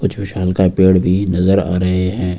विशालकाय पेड़ भी नजर आ रहे हैं।